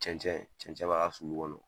Cɛncɛn cɛncɛn bɔ a ka sulu kɔnɔ.